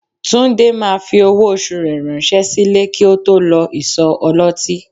Túndé máa fi owó oṣù rẹ ránṣẹ́ sílé kí ó tó lọ ìsọ̀ ọlọ́tí